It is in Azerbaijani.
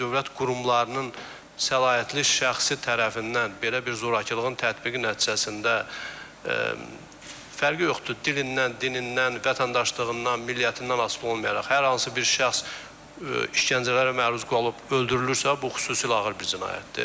Əgər dövlət qurumlarının səlahiyyətli şəxsi tərəfindən belə bir zorakılığın tətbiqi nəticəsində fərqi yoxdur, dilindən, dinindən, vətəndaşlığından, milliyətindən asılı olmayaraq, hər hansı bir şəxs işgəncələrə məruz qalıb öldürülürsə, bu xüsusilə ağır bir cinayətdir.